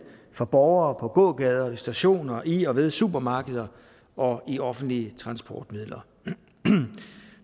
for borgere på gågader stationer i og ved supermarkeder og i offentlige transportmidler